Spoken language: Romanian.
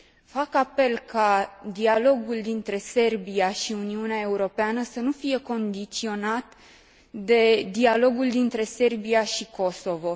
Fac apel ca dialogul dintre Serbia și Uniunea Europeană să nu fie condiționat de dialogul dintre Serbia și Kosovo.